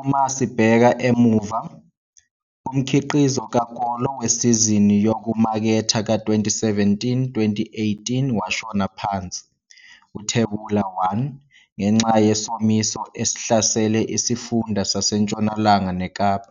Uma sibheka emuva, umkhiqizo ka-kolo wesizini yokumaketha ka-2017, 2018 washona phansi, Uthebula 1, ngenxa yesomiso esihlasele isifunda saseNtshonalanga neKapa,